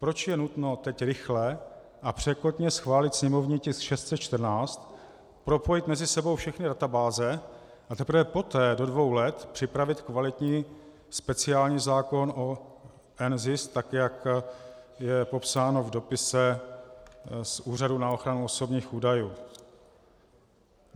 Proč je nutno teď rychle a překotně schválit sněmovní tisk 614, propojit mezi sebou všechny databáze, a teprve poté do dvou let připravit kvalitní speciální zákon o NZIS tak, jak je popsáno v dopise z Úřadu na ochranu osobních údajů?